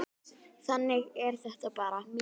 Þannig er þetta bara.